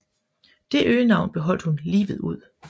Det øgenavn beholdt hun livet ud